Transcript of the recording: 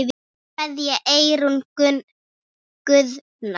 Kveðja, Eyrún Guðna.